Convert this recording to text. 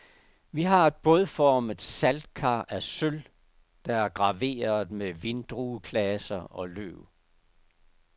Vi har et bådformet saltkar af sølv, der er graveret med vindrueklaser og løv.